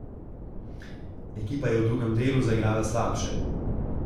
Ekipa je v drugem delu zaigrala slabše.